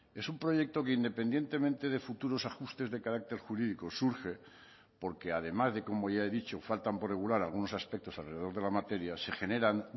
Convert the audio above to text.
es un proyecto que independientemente de futuros ajustes de carácter jurídico surge porque además de como ya he dicho faltan por regular algunos aspectos alrededor de la materia se generan